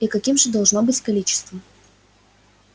и каким же должно быть количество